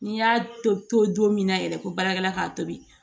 N'i y'a to don min na yɛrɛ ko baarakɛla k'a tobi